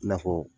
I n'a fɔ